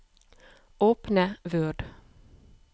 Åpne Word